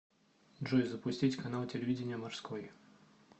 джой запустить канал телевидения морской